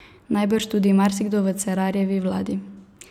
Najbrž tudi marsikdo v Cerarjevi vladi.